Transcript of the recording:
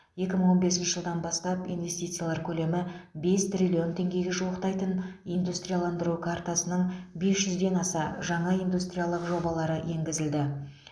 екі мың он бесінші жылдан бастап инвестициялар көлемі бес триллион теңгеге жуықтайтын индустрияландыру картасының бес жүзден аса жаңа индустриялық жобалары енгізілді